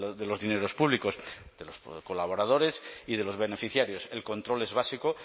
de los dineros públicos de los colaboradores y de los beneficiarios el control es básico